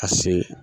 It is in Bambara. Ka se